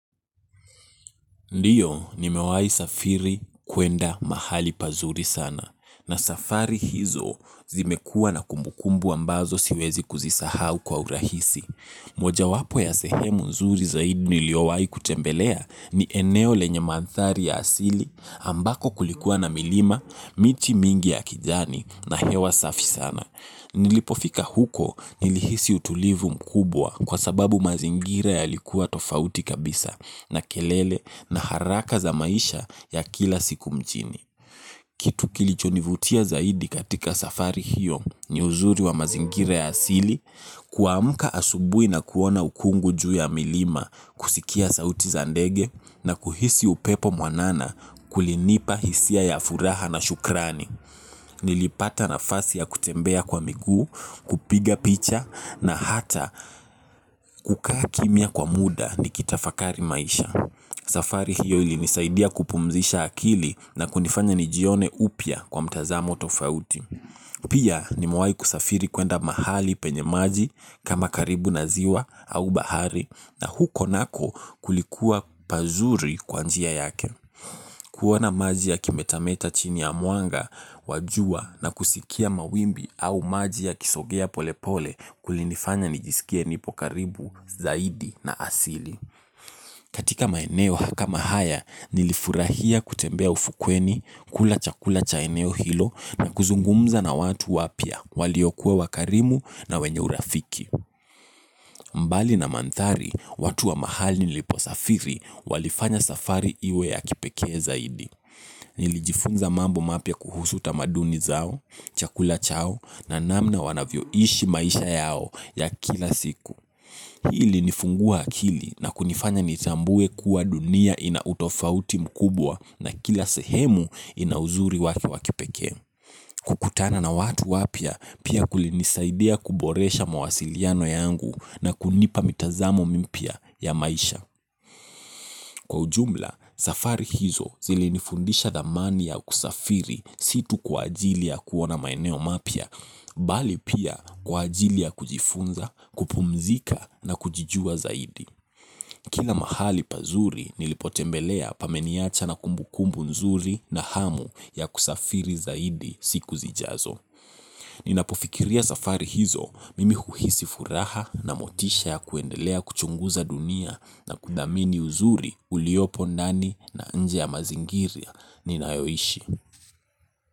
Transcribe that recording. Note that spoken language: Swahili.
Ndio nimewahi safiri kuenda mahali pazuri sana na safari hizo zimekuwa na kumbukumbu ambazo siwezi kuzisahau kwa urahisi. Mojawapo ya sehemu nzuri zaidi niliowahi kutembelea ni eneo lenya mandhari ya asili ambako kulikuwa na milima, miti mingi ya kijani na hewa safi sana. Nilipofika huko nilihisi utulivu mkubwa kwa sababu mazingira yalikuwa tofauti kabisa na kelele na haraka za maisha ya kila siku mjini. Kitu kilichonivutia zaidi katika safari hiyo ni uzuri wa mazingira ya asili, kuamka asubuhi na kuona ukungu juu ya milima kusikia sauti za ndege na kuhisi upepo mwanana kulinipa hisia ya furaha na shukrani. Nilipata nafasi ya kutembea kwa miguu, kupiga picha na hata kukaa kimya kwa muda nikitafakari maisha. Safari hiyo ilinisaidia kupumzisha akili na kunifanya nijione upya kwa mtazamo tofauti. Pia nimewahi kusafiri kuenda mahali penye maji kama karibu na ziwa au bahari na huko nako kulikuwa pazuri kwa njia yake. Kuona maji yakimetameta chini ya mwanga, wa jua na kusikia mawimbi au maji yakisogea pole pole kulinifanya nijisikie nipo karibu, zaidi na asili. Katika maeneo kama haya, nilifurahia kutembea ufukweni, kula chakula cha eneo hilo, na kuzungumza na watu wapya waliokuwa wakarimu na wenye urafiki. Mbali na mandhari, watu wa mahali niliposafiri, walifanya safari iwe ya kipekee zaidi. Nilijifunza mambo mapya kuhusu tamaduni zao, chakula chao na namna wanavyoishi maisha yao ya kila siku. Hii ilinifungua akili na kunifanya nitambue kuwa dunia ina utofauti mkubwa na kila sehemu ina uzuri wake wa kipekee. Kukutana na watu wapya, pia kulinisaidia kuboresha mawasiliano yangu na kunipa mitazamo mipya ya maisha. Kwa ujumla, safari hizo zilinifundisha thamani ya kusafiri si tu kwa ajili ya kuona maeneo mapya, bali pia kwa ajili ya kujifunza, kupumzika na kujijua zaidi. Kila mahali pazuri nilipotembelea pameniacha na kumbukumbu nzuri na hamu ya kusafiri zaidi siku zijazo. Ninapofikiria safari hizo mimi huhisi furaha na motisha ya kuendelea kuchunguza dunia na kuthamini uzuri uliopo ndani na nje ya mazingiria ninayoishi.